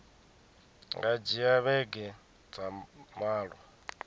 nga dzhia vhege dza malo